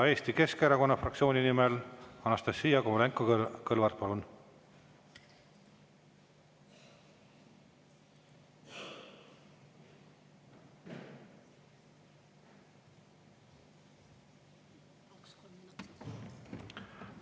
Eesti Keskerakonna fraktsiooni nimel Anastassia Kovalenko-Kõlvart, palun!